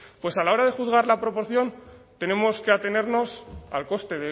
pues a la hora de juzgar la proporción tenemos que atenernos al coste